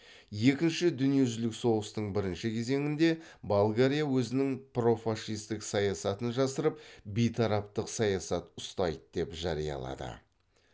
екінші дүниежүзілік соғыстың бірінші кезеңінде болгария өзінің профашистік саясатын жасырып бейтараптық саясат ұстайды деп жариялады